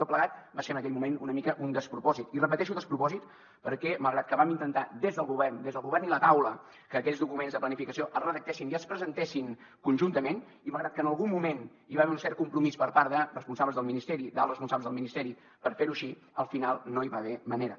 tot plegat va ser en aquell moment una mica un despropòsit i repeteixo despropòsit perquè malgrat que vam intentar des del govern des del govern i la taula que aquells documents de planificació es redactessin i es presentessin conjuntament i malgrat que en algun moment hi va haver un cert compromís per part de responsables del ministeri d’alts responsables del ministeri per fer ho així al final no hi va haver manera